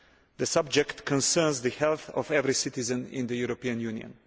The subject concerns the health of every citizen in the European Union.